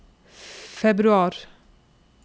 februar